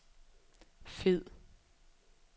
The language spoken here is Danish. fed